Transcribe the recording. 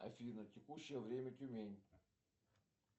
афина текущее время тюмень